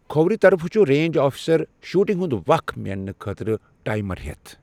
کھوورِ طرفہٕ چُھ رینٛج اَفسَر شوٗٹِنٛگ ہنٛد وق مینٛنہٕ خٲطرٕ ٹایِمر ہٮ۪تھ۔